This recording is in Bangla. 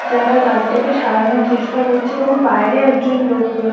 যারা গাড়িটাকে সারানোর চেষ্টা করছে এবং বাইরে একজন লোক রয়ে--